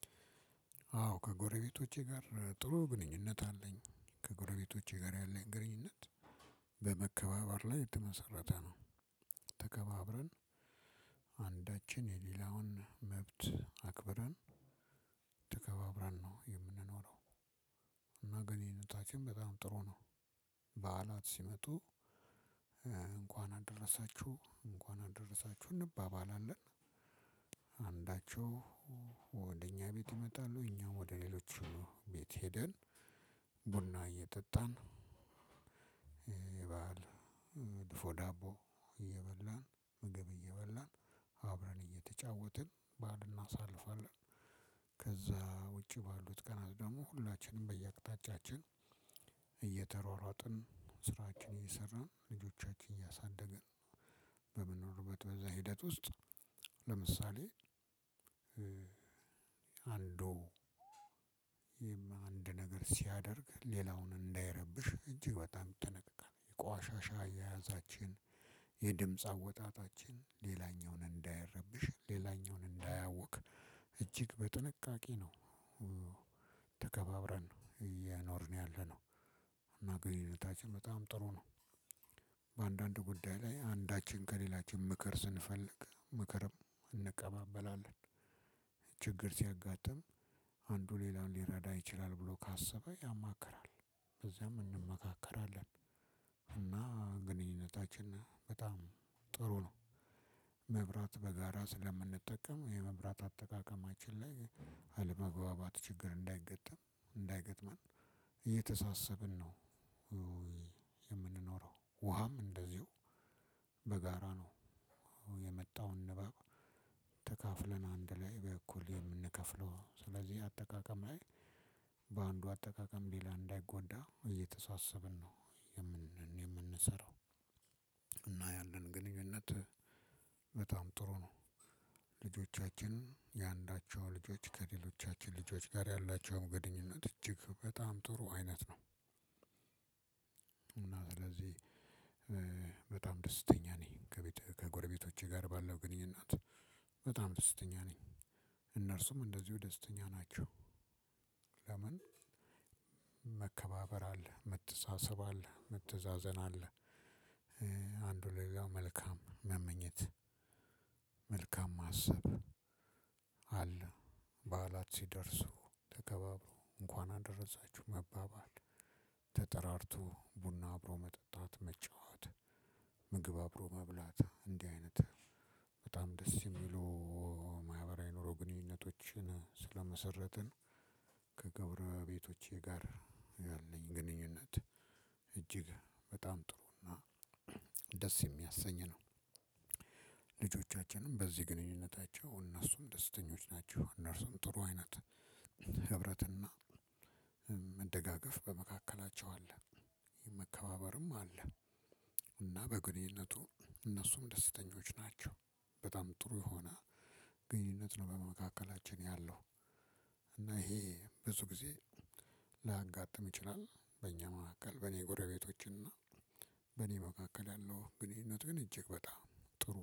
አዎ ከጎረቤቶቼ ጋር ጥሩ ግንኙነት አለኝ ከጎረቤቶቼ ጋር ያለኝ ግንኙነት ላይ የተመሰረተ ነው። ተከባብረን አንዳችን የሌላውን መብት አክብረን ተከባብረን ነው የምንኖረው። እና ግንኙነታችን በጣም ጥሩ ነው። በዓላት ሲመጡ እንኳን አደረሳችሁ እንኳን አደረሳችሁ እንባባላለን። አንዳቸው ወደ እኛ ቤት ይመጣሉ እኛ ወደ ሌሎቹ ቤት ሄደን። ቡና እየጠጣን የበአል ድፎ ዳቦ እየበላን ምግብ እየበላን አብረን እየተጫወትን በዓል እናሳልፋለን። ከዛ ውጪ ባሉት ቀናት ደግሞ ሁላችንም በየአቅጣጫችን እየተሯሯጥን ስራችንን እየሰራን ልጆቻችንን እያሳደገን በምንኖርበት በዛ ሂደት ውስጥ። ለምሳሌ አንዱ ይሄም አንድ ነገር ሲያደርግ ሌላውን እንዳይረብሽ እጅግ በጣም ይጠነቀቃል የቆሻሻ አያያዛችን የድምጽ አወጣጣችን ሌላኛውን እንዳይረብሽ ሌላኛውን እንዳያውክ እጅግ በጥንቃቄ ነው። ተከባብረን ነው እየኖርን ያለነው። እና ግንኙነታችን በጣም ጥሩ ነው። በአንዳንድ ጉዳይ ላይ አንዳችን ከሌላችን ምክር ስንፈልግ ምክርም እንቀባበላለን። ችግር ሲያጋጥም አንዱ ሌላውን ሊረዳ ይችላል ብሎ ካሰበ ያማክራል። በዚያም እንመካከራለን። እና ግንኙነታችን በጣም ጥሩ ነው። መብራት በጋራ ስለምንጠቀም የመብራት አጠቃቀማችን ላይ አለመግባባት ችግር እንዳይገጥም እንዳይገጥመን እየተሳሰብን ነው። የምንኖረው ውሃም እንደዚሁ በጋራ ነው። የመጣውን ንባብ ተካፍለን አንድ ላይ በእኩል የምንከፍለው። ስለዚህ አጠቃቀም ላይ በአንዱ አጠቃቀም ሌላ እንዳይጎዳ እየተሳሰብን ነው የምንሰራው። እና ያለን ግንኙነት በጣም ጥሩ ነው። ልጆቻችን የአንዳቸው ልጆች ከሌሎቻችን ልጆች ጋር ያላቸው ግንኙነት እጅግ በጣም ጥሩ አይነት ነው። እና ስለዚህ በጣም ደስተኛ ነኝ። ከጎረቤቶቼ ጋር ባለው ግንኙነት በጣም ደስተኛ ነኝ። እነርሱም እንደዚሁ ደስተኛ ናቸው። ለምን? መከባበር አለ መተሳሰብ አለ መተዛዘን አለ። አንዱ ለሌላው መልካም መመኘት መልካም ማሰብ አለ። በዓላት ሲደርሱ ተከባብሮ እንኳን አደረሳችሁ መባባል ተጠራርቶ ቡና አብሮ መጠጣት መጫወት። ምግብ አብሮ መብላት እንዲህ አይነት በጣም ደስ የሚሉ ማህበራዊ ኑሮ ግንኙነቶችን ስለመሰረትን ከጎሮቤቶቼ ጋር ያለኝ ግንኙነት እጅግ በጣም ጥሩና እና ደስ የሚያሰኝ ነው። ልጆቻችንም በዚህ ግንኙነታቸው እነሱም ደስተኞች ናቸው እነርሱም ጥሩ አይነት ህብረትና መደጋገፍ በመካከላቸው አለ። መከባበርም አለ። እና በግንኙነቱ እነሱም ደስተኞች ናቸው። በጣም ጥሩ የሆነ ግንኙነት ነው በመካከላችን ያለው። እና ይሄ ብዙ ጊዜ ላያጋጥም ይችላል። በእኛ መካከል በእኔ ጎረቤቶች እና በእኔ መካከል ያለው ግንኙነት ግን እጅግ በጣም ጥሩ